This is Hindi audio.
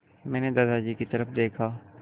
मैंने दादाजी की तरफ़ देखा